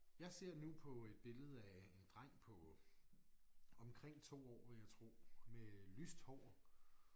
Jeg ser nu på et billede af en dreng på omkring 2 år vil jeg tro med lyst hår